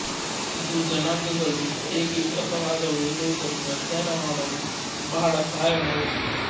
ಇದು ಜನಾಂಗಗಳು ಹೇಗೆ ವಿಕಾಸವಾದವು ಎನ್ನುವುದನ್ನು ಅಧ್ಯಯನ ಮಾಡಲು ಬಹಳ ಸಹಾಯ ಮಾಡುತ್ತದೆ